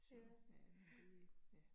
Ja ja